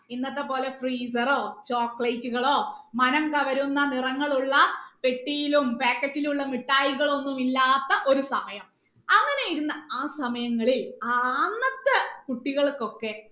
ഇന്നത്തെ പോലെ freezer റോഹ് chocolate കളോ മനം കവരുന്ന നിറങ്ങൾ ഉള്ള പെട്ടിയിലും packet ലുള്ള മിട്ടായികളും ഒന്നും ഇല്ലാത്ത ഒരു സമയം അങ്ങനെ ഇരുന്ന ആ സമയങ്ങളിൽ ആ അന്നത്തെ കുട്ടികൾക്കൊക്കെ